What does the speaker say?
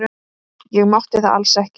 Ég mátti það alls ekki.